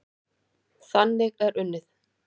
Þannig er unnið.